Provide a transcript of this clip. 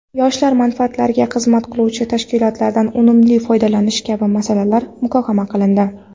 yoshlar manfaatlariga xizmat qiluvchi tashkilotlardan unumli foydalanish kabi masalalar muhokama qilindi.